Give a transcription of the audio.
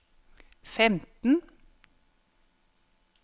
femten